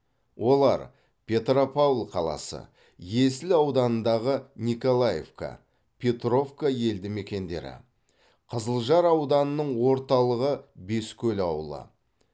олар петропавл қаласы есіл ауданындағы николаевка петровка елді мекендері қызылжар ауданының орталығы бескөл ауылы